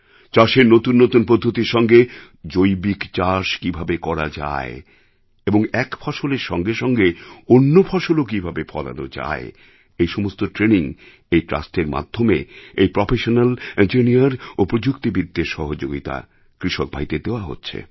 চাষের নতুন নতুন পদ্ধতির সঙ্গে জৈবিক চাষ কীভাবে করা যায় এবং এক ফসলের সঙ্গে সঙ্গে অন্য ফসলও কীভাবে ফলানো যায় এই সমস্ত ট্রেনিং এই ট্রাস্টের মাধ্যমে এই প্রফেশনাল ইঞ্জিনিয়ার ও প্রযুক্তিবিদদের সহযোগিতা কৃষকভাইদের দেওয়া হচ্ছে